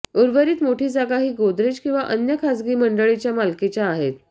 उर्वरित मोठी जागा ही गोदरेज किवा अन्य खाजगी मंडळींच्या मालकीच्या आहेत